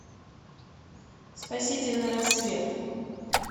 спасительный рассвет